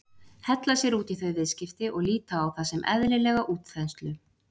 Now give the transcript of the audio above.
Hella sér út í þau viðskipti og líta á það sem eðlilega útþenslu?